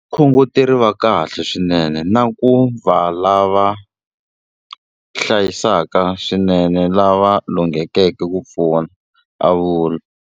Vakhongoteri va kahle swinene na ku va lava hlayisaka swinene lava lunghekeke ku pfuna, a vula.